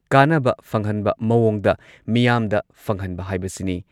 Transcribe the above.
ꯀꯥꯟꯅꯕ ꯐꯪꯍꯟꯕ ꯃꯑꯣꯡꯗ ꯃꯤꯌꯥꯝꯗ ꯐꯪꯍꯟꯕ ꯍꯥꯏꯕꯁꯤꯅꯤ꯫